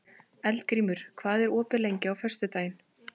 Eldgrímur, hvað er opið lengi á föstudaginn?